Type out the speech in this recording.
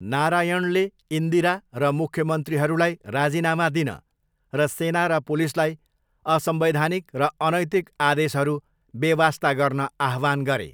नारायणले इन्दिरा र मुख्यमन्त्रीहरूलाई राजीनामा दिन र सेना र पुलिसलाई असंवैधानिक र अनैतिक आदेशहरू बेवास्ता गर्न आह्वान गरे।